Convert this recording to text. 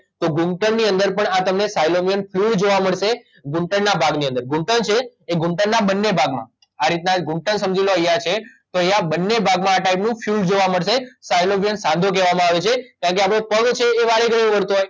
તો ઘૂંટણ ની અંદર પણ આ તમને સાયલોવિયન ફ્લૂડ જોવા મળશે ઘૂંટણ ના ભાગની અંદર ઘૂંટણ છે એ ઘૂંટણના બંને ભાગમાં આ રીતના ઘૂંટણ સમજી લો અહીંયા છે તો અહીંયા બંને ભાગમાં આ ટાઇપનું ફ્લૂડ જોવા મળશે સાયલોવિયન સાંધો કહેવામાં આવે છે કારણકે આપડો પગ છે એ વારેઘડીએ વળતો હોય